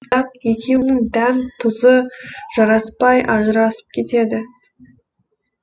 бірақ екеуінің дәм тұзы жараспай ажырасып кетеді